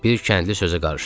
Bir kəndli sözə qarışdı.